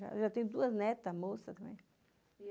Eu já tenho duas netas moças também.